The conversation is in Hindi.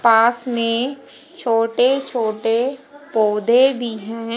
पास में छोटे छोटे पौधे भी हैं।